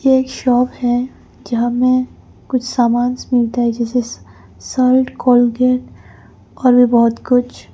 ये एक शॉप है जहां में कुछ सामान मिलता है जैसे सर्फ़ कोलगेट और भी बहुत कुछ।